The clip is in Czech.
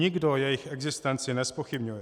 Nikdo jejich existenci nezpochybňuje.